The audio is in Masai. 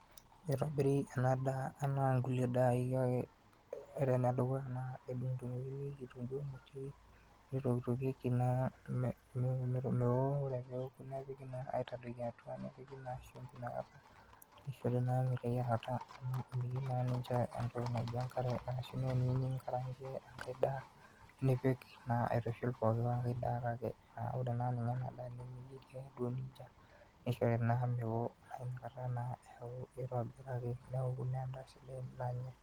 itobiri ena daa enaa inkulie dai, kake ore enedukuya naa kedung'udung'okini kitunkuu, nitokitokieki mewo, ore pee eku nitadokini atua nepiki shumbi, nishori naa meteyiarata, asu teniyieu ninkarankie engai daa nipik naa aitushul pooki, kake ore naa ena daa naa meyieri ake duo nejia nishori naa meo edaa sidai.